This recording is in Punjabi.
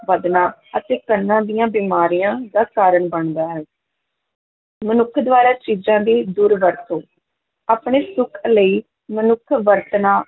ਵਧਣਾ ਅਤੇ ਕੰਨਾਂ ਦੀਆਂ ਬਿਮਾਰੀਆਂ ਦਾ ਕਾਰਨ ਬਣਦਾ ਹੈ ਮਨੁੱਖ ਦੁਆਰਾ ਚੀਜ਼ਾਂ ਦੀ ਦੁਰਵਰਤੋ ਆਪਣੇ ਸੁੱਖ ਲਈ ਮਨੁੱਖ ਵਰਤਣਾ